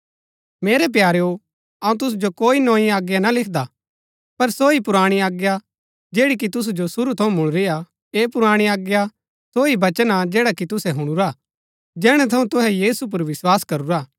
मेरै प्यारेओ अऊँ तुसु जो कोई नोई आज्ञा ना लिखदा पर सो ही पुराणी आज्ञा जैड़ी कि तुसु जो शुरू थऊँ मुळुरीआ ऐह पुराणी आज्ञा सो ही वचन हा जैडा कि तुसै हुणुरा जैहणै थऊँ तुहै यीशु पुर विस्वास करूरा